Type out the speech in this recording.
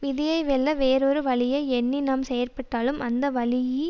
விதியை வெல்ல வேறொரு வழியை எண்ணி நாம் செயற்பட்டாலும் அந்த வழியிலேயோ